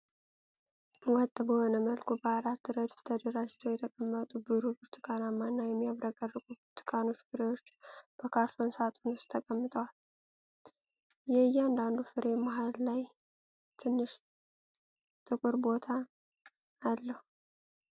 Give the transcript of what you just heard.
ወጥ በሆነ መልኩ፣ በአራት ረድፍ ተደራጅተው የተቀመጡ፣ ብሩህ ብርቱካናማ እና የሚያብረቀርቁ ብርቱካን ፍሬዎች በካርቶን ሳጥን ውስጥ ተቀምጠዋል። የእያንዳንዱ ፍሬ መሃል ላይ ትንሽ ጥቁር ቦታ አለው።